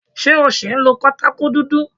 Ṣé o ṣì ń lo pátákó dúdú?